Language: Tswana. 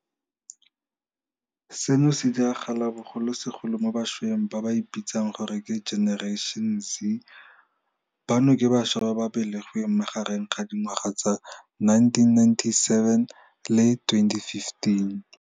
Seno se diragala bogolosegolo mo bašweng ba ba ipitsang gore ke Generation Z, bano ke bašwa ba ba belegweng magareng ga dingwaga tsa 1997 le 2015.